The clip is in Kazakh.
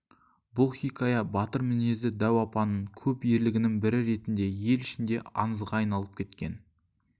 бұл хикая батыр мінезді дәу апаның көп ерлігінің бірі ретінде ел ішінде аңызға айналып кеткен